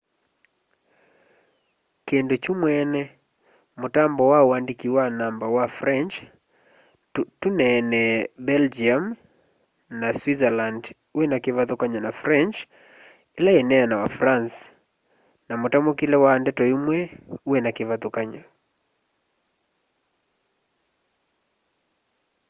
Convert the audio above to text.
kĩndũ kyũ mwene mũtambo wa ũandĩkĩ wa namba wa french-tũneenee belgĩũm na swĩtzerland wĩna kĩvathũkanyo na french ĩla ĩneenawa france na mũtamũkĩle wa ndeto ĩmwe wĩna kĩvathũkany'o